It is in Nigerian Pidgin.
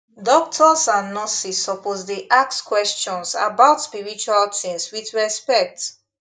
doctors and nurses suppose dey ask questions about spiritual things with respect